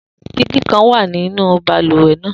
Digi kan wa ninu baluwe naa